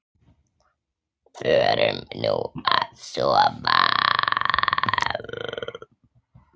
Förum nú að sofa.